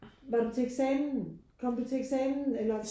Var du til eksamen kom du til eksamen eller